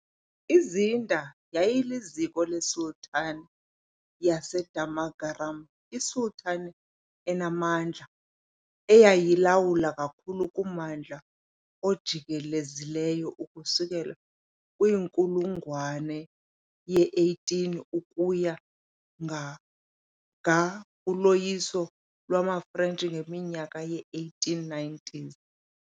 IZinder yayiliziko leSultanate yaseDamagaram, iSultanate enamandla eyayilawula kakhulu kummandla ojikelezileyo ukusuka kwinkulungwane ye-18 ukuya kuthi ga kuloyiso lwamaFrentshi ngeminyaka yee-1890s.